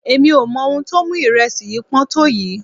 Èmi ò mọ ohun tó mú ìrẹsì yìí pọ́n tó yìí.